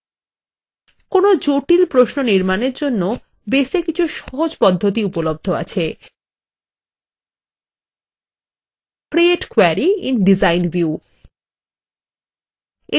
কোনো জটিল প্রশ্ন নির্মাণের জন্য বেসএ কিছু সহজ পদ্ধতি উপলব্ধ আছে : create query in design view